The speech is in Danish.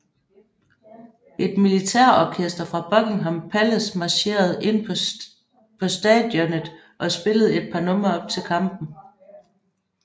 Et militærorkester fra Buckingham Pallace marcherede ind på stadionet og spillede et par numre op til kampen